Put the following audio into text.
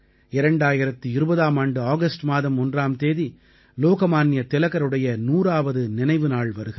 2020ஆம் ஆண்டு ஆகஸ்ட் மாதம் ஒன்றாம் தேதி லோக்மான்ய திலகருடைய 100ஆவது நினைவு நாள் வருகிறது